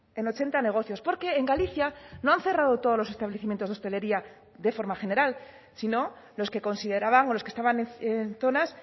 en ochenta negocios porque en galicia no han cerrado todos los establecimientos de hostelería de forma general sino los que consideraban o los que estaban en zonas